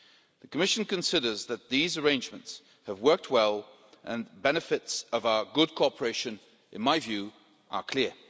The Commission considers that these arrangements have worked well and the benefits of our good cooperation, in my view, are clear.